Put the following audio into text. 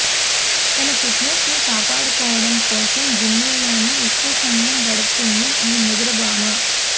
తన ఫిట్నెస్ను కాపాడుకోవడం కోసం జిమ్లోనే ఎక్కువ సమయం గడుపుతుంది ఈ ముదురు భామ